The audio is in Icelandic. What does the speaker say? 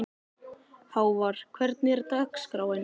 Hávar, hvernig er dagskráin?